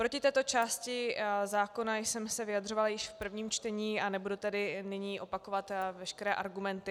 Proti této části zákona jsem se vyjadřovala již v prvním čtení, a nebudu tedy nyní opakovat veškeré argumenty.